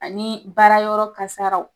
Ani baarayɔrɔ kasaraw